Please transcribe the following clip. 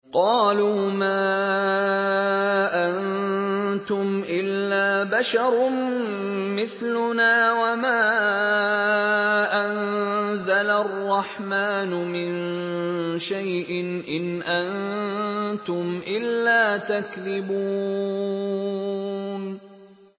قَالُوا مَا أَنتُمْ إِلَّا بَشَرٌ مِّثْلُنَا وَمَا أَنزَلَ الرَّحْمَٰنُ مِن شَيْءٍ إِنْ أَنتُمْ إِلَّا تَكْذِبُونَ